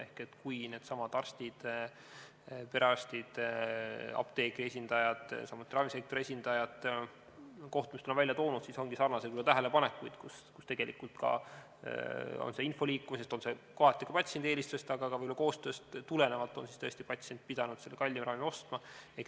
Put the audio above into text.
Ehk needsamad arstid, perearstid, apteegi esindajad, samuti ravimisektori esindajad kohtumistel on öelnud, et ongi sarnaseid tähelepanekuid, kus tegelikult patsient on tõesti pidanud – kas info liikumisest, kohati ka patsiendi eelistusest, aga võib-olla ka koostööst tingituna – kallima ravimi ostma.